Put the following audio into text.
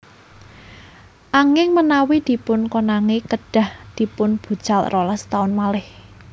Anging menawi dipunkonangi kedhah dipunbucal rolas taun malih